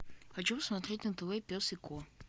хочу смотреть на тв пес и ко